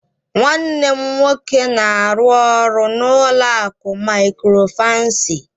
Nwanne m nwoke na-arụ ọrụ n'ụlọ akụ Mikrofaịnsi